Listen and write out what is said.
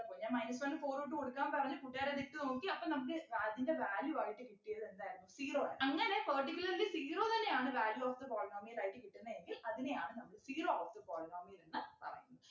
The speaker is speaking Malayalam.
പ്പൊ ഞാൻ minus one ഉം four ഉം ഇട്ടുകൊടുക്കാൻ പറഞ്ഞു കൂട്ടുകാരത് ഇട്ടു നോക്കി അപ്പോ നമുക്ക് അതിൻ്റെ value ആയിട്ട് കിട്ടിയത് എന്തായിരുന്നു zero ആണ് അങ്ങനെ particularly zero തന്നെയാണ് value of the polynomial ആയിട്ട് കിട്ടുന്നെ എങ്കിൽ അതിനെയാണ് നമ്മള് zero of the polynomial എന്ന് പറയുന്നെ.